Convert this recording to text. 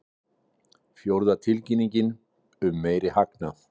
Fjórða tilkynningin um meiri hagnað